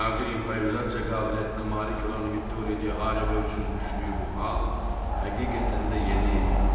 Nadir improvizasiya qabiliyyətinə malik olan Vittoriya Di Arebo üçün düşdüyü bu hal həqiqətən də yeni idi.